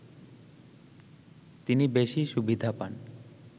তিনি বেশি সুবিধা পান